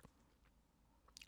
DR2